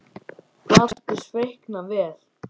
Platan seldist feikna vel.